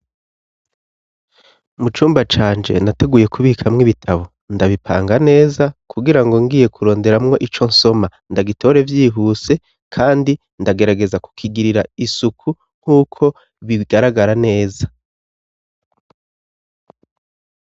Mu cumba canje nateguye kubikamwo ibitabo ndabipanga neza kugirango ngiye kuronderamwo ico nsoma ndagitore vyihuse kandi ndagerageza kukigirira isuku nk'uko bigaragara neza.